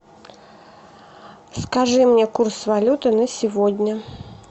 скажи мне курс валюты на сегодня